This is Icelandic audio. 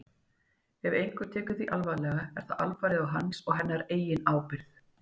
Ef einhver tekur því alvarlega er það alfarið á hans eða hennar eigin ábyrgð.